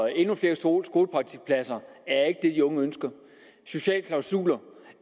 endnu flere skolepraktikpladser er ikke det de unge ønsker sociale klausuler